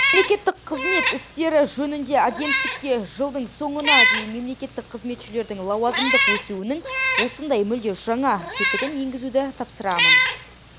мемлекеттік қызмет істері жөніндегі агенттікке жылдың соңына дейін мемлекеттік қызметшілердің лауазымдық өсуінің осындай мүлде жаңа тетігін енгізуді тапсырамын